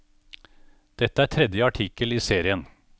Dette er tredje artikkelen i serien.